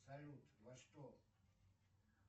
салют во что